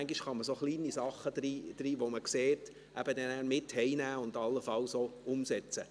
Manchmal kann man kleine Dinge, die man sieht, nach Hause mitnehmen und allenfalls auch umsetzen.